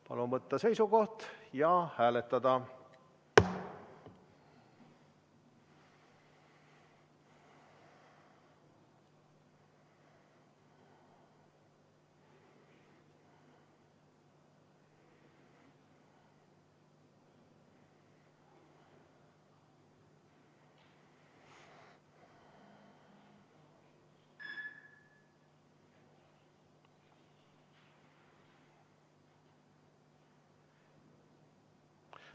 Palun võtta seisukoht ja hääletada!